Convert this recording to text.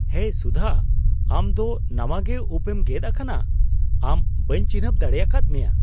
ᱦᱮᱭ ᱥᱩᱫᱷᱟ, ᱟᱢ ᱫᱚ ᱱᱟᱣᱟᱜᱮ ᱩᱯᱮᱢ ᱜᱮᱫ ᱟᱠᱟᱱᱟ ! ᱟᱢ ᱵᱟᱹᱧ ᱪᱤᱱᱦᱟᱹᱯ ᱫᱟᱲᱮᱭᱟᱠᱟᱫ ᱢᱮᱭᱟ !